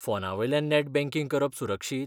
फोनावेल्यान net banking करप सुरक्षीत?